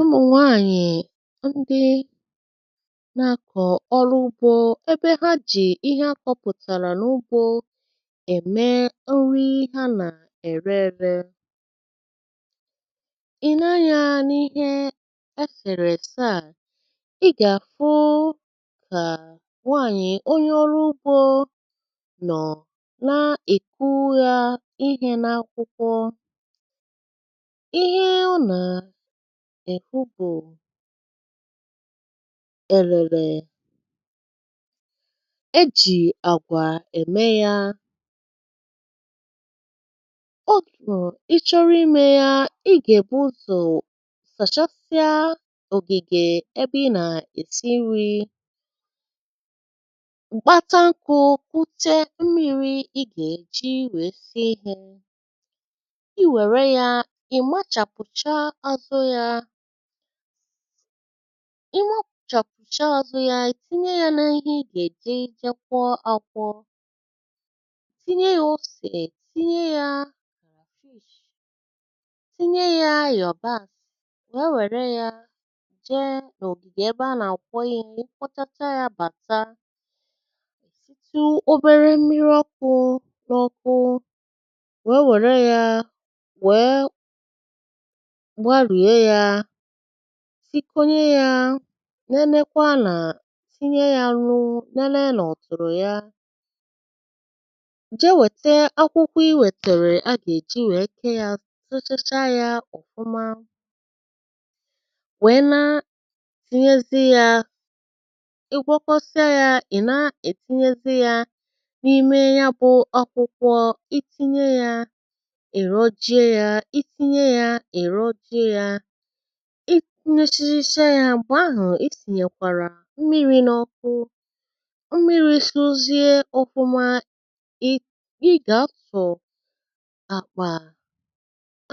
umu nwaànyị̀ ndị nà-akọ̀ ọrụ ugbȯ ebe ha jì ihe akọ̇pụ̀tàrà n’ugbȯ ème nri ha nà-ère ėre, i neanyȧ n’ihe esèrè èse à i gà-àfụ kà nwaànyị̀ onye ọrụ ugbȯ nọ̀ na-èkwu ya ihe n’akwụkwọ, ihe ọ na èkwu bú èlèlè èjì àgwà ème ya ọ gụ̀.. ị chọrọ imė ya ị gà-ègbu ụzọ̀ sàchasịa ògìgè ebe ị nà-èsi nri, m̀gbàta nkụ̇ kwute mmiri̇ ị gà-èji wee si ihė ịwere ya ị machapucha azụ ya ị mọ̀ọ̀kpụ̀chọ̀ kùcha ozụ̇ yȧ ì tinye yȧ n’ihe ì gà-èje je kwọ akwọ tinye yȧ osè, ì tinye yȧ crayfish tinye yȧ iyobasi wee wère yȧ jee n'ogige ebe anà-àkwọ ihė, ị kwọchacha yȧ bàta èsitu obere mmiri ọkụ̇ n’ọkụ wee wéré ya wee gbarie ya sikonye yȧ nenekwa nà tinye ya nnu nene nà ọ̀tụ̀rụ̀ ya je weta akwụkwọ i wètèrè a ga èji wèe ké yȧ, tụtụchaa yȧ ọ̀fụma wèe naa tinyezie yȧ ị gwọkọsịa yȧ, ị̀ na-ètinyezi yȧ n’ime ya bụ̇ akwụkwọ itinye yȧ ịrojie ya itinye ya irojie ya ị kunyechichi ya mgbe ahụ̀ esìnyèkwàrà mmiri̇ n’ọkụ mmiri̇ sȯzie ofụmȧ ị gà-afọ̀ àkpà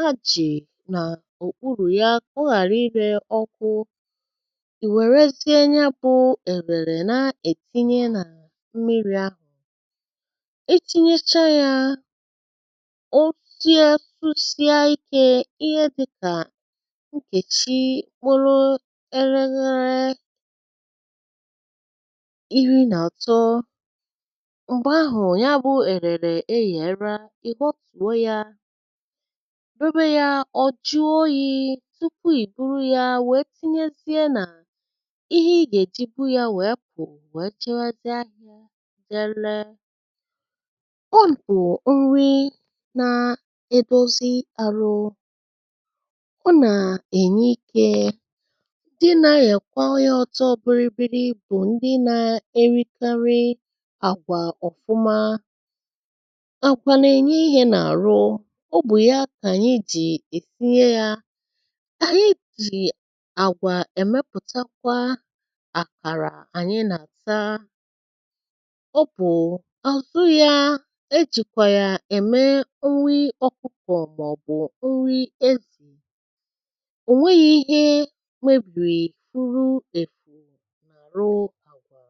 ajị̀ nà òkpùrù ya ka ọ ghàra ịrė ọkụ ì wèrezie nyėbụ̀ èlèrè na-ètinye nà mmiri̇ ahụ̀ itinyechaa ya ọ tia susia ike ihe dịka nkeji kpụrụ eleghere iri nà-àtọ m̀gbè ahụ̀ ya bụ èrèrè e yèrè ị họtùo yȧ, debe yȧ ọ̀ jụọ oyì tupu ì buru yȧ wèe tinyezie nà ihe ị gà-èjigbu yȧ wèe pu wéé jebe zie ahịa je re. o nri nȧ-edozi arụ ọ na-enye ike ndị nȧ-arikwa ọrịa ọtọ bìrì bịrị bụ̀ ndị nȧ-erikarị àgwà ọ̀fụma, àgwà n’ènye ihe n’àrụ obù ya kà ànyị jì èsinye yȧ ànyị jì àgwà èmepùtakwa àkàrà ànyị nà-àta ọ bụ̀ àzụ ya ejìkwà yà ème nri okpukọ̀ maọ bụ̀ nri ezì o nweghị ihe mebiri uru efuru na arụ àgwà.